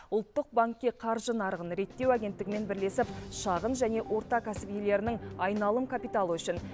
ұлттық банкке қаржы нарығын реттеу агенттігімен бірлесіп шағын және орта кәсіп иелерінің айналым капиталы үшін